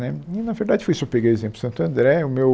Né e na verdade foi isso eu peguei o exemplo de Santo André, o meu...